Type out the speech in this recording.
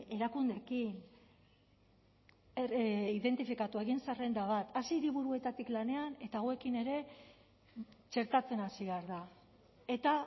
erakundeekin identifikatu egin zerrenda bat hasi hiriburuetatik lanean eta hauekin ere txertatzen hasi behar da eta